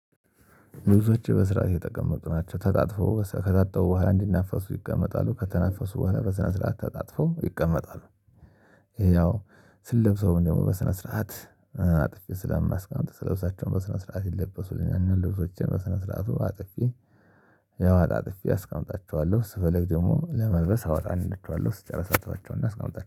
ብዙዎች በስራ የተጠቀመጡ ናቸው ተጣጥፈው ከታጠቡ በኋላ እንዲነፋሱ ይቀመጣሉ ከተነፈሱ በኋላ በስነ ስርዓት ተጣጥፈው ይቀመጣሉ። ያው ስለብሰውም ያው ደግሞ በስነ ስርዓት አጥፊ ስለምናስቃምጥ ስለብሳቸውም በስነ ስርዓት ይለበሱልኛል። ልብሶቼን በስነ ስርዓቱ አጥፌ ያው አጣጥፌ አስቀምጣቸዋለሁ ስፈልግ ደግሞ ለመልበስ አወጣንላቸዋለሁ። ስትጨርስ አጥባቸውና አስቀምጣች